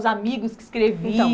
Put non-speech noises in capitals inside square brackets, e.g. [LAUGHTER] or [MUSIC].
Os amigos que [UNINTELLIGIBLE]